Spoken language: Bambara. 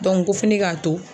ko fi ne k'a to